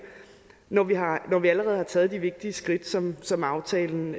når vi har taget de vigtige skridt som som aftalen